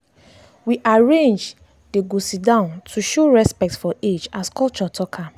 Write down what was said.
we arrange dey go sit down to show respect for age as culture talk am.